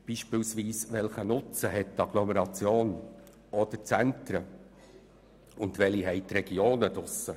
Beispielsweise: Welchen Nutzen haben die Agglomerationen, die Zentren und die Regionen draussen?